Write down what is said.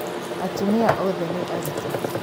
Atumia othe nĩ aritũ